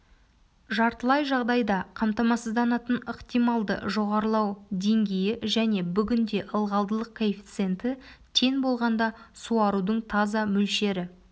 жартылай жағдайда қамтамасызданатын ықтималды жоғарылау деңгейі және бүгінде ылғалдылық коэффициенті тең болғанда суарудың таза мөлшері